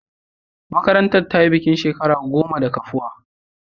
Marantar ta yi bikin shekara goma da kafuwa.